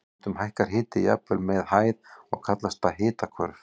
Stundum hækkar hiti jafnvel með hæð og kallast það hitahvörf.